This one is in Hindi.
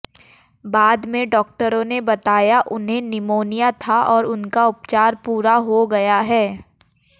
बाद में डॉक्टरों ने बताया उन्हें निमोनिया था और उनका उपचार पूरा हो गया है